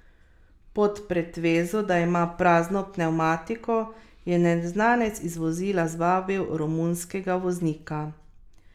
Pod pretvezo, da ima prazno pnevmatiko, je neznanec iz vozila zvabil romunskega voznika.